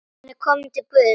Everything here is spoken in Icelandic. Hann er kominn til Guðs.